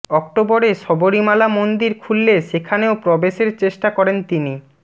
অক্টোবরে সবরীমালা মন্দির খুললে সেখানেও প্রবেশের চেষ্টা করেন তিনি